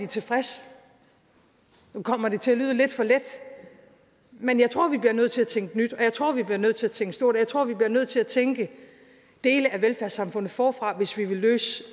tilfredse nu kommer det til at lyde lidt for let men jeg tror vi bliver nødt til at tænke nyt og jeg tror vi bliver nødt til at tænke stort og jeg tror vi bliver nødt til at tænke dele af velfærdssamfundet forfra hvis vi vil løse